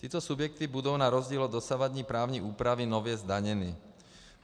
Tyto subjekty budou na rozdíl od dosavadní právní úpravy nově zdaněny.